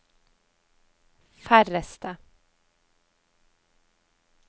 færreste